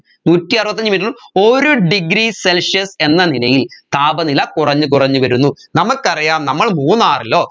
നൂറ്റി അറുപത്തി അഞ്ച്‌ metre ഉം ഒരു degree celsius എന്ന നിലയിൽ താപനില കുറഞ്ഞ് കുറഞ്ഞ് വരുന്നു നമ്മൾക്കറിയാം നമ്മൾ മൂന്നാറിലോ